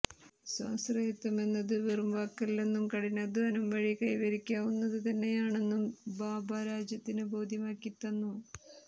സ്വാശ്രയത്വമെന്നത് വെറുംവാക്കല്ലെന്നും കഠിനാധ്വാനം വഴി കൈവരിക്കാവുന്നത് തന്നെയാണെന്നും ഭാഭ രാജ്യത്തിന് ബോധ്യമാക്കിത്തന്നു